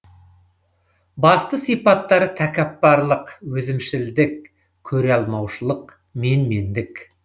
басты сипаттары тәкаппарлық өзімшілдік көре алмаушылық менмендік